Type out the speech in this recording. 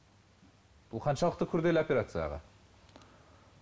бұл қаншалықты күрделі операция аға